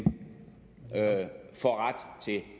får ret til